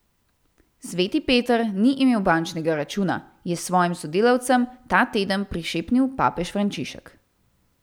Sveti Peter ni imel bančnega računa, je svojim sodelavcem ta teden prišepnil papež Frančišek.